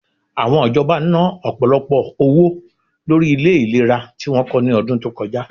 Àwọn ìjọba na, ọ̀pọ̀lọpọ̀ owó lórí ilẹ ìlera tí wọ́n kọ́ ní ọdún tó kọjá